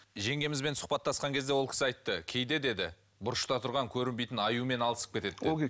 жеңгемізбен сұхбаттасқан кезде ол кісі айтты кейде деді бұрышта тұрған көрінбейтін аюмен алысып кетеді деді